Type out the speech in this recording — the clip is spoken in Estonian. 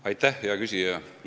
Aitäh, hea küsija!